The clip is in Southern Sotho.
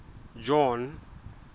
john